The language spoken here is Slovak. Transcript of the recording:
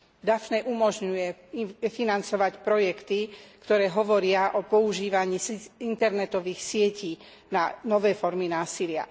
Daphne umožňuje financovať projekty, ktoré hovoria o používaní internetových sietí na nové formy násilia.